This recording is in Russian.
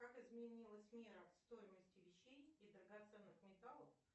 как изменилась мера стоимости вещей и драгоценных металлов